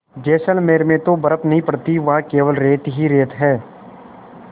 जैसलमेर में तो बर्फ़ नहीं पड़ती वहाँ केवल रेत ही रेत है